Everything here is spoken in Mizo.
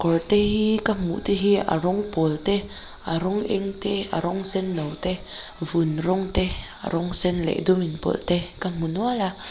kawr te hi ka hmuhte hi a rawng pâwl te a rawng eng te a rawng senno te vun rawng te a rawng sen leh dum inpawlh te ka hmu nual a.